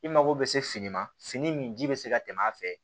I mago bɛ se fini ma fini min ji bɛ se ka tɛmɛ a fɛ